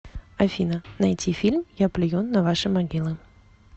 афина найти фильм я плюю на ваши могилы